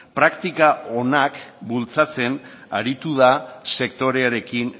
praktika onak bultzatzen aritu da sektorearekin